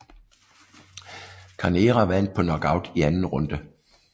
Carnera vandt på knockout i anden runde